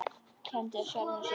Kenndi sjálfum sér um.